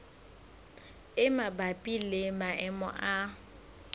e mabapi le maemo a